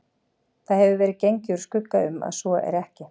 Það hefur verið gengið úr skugga um, að svo er ekki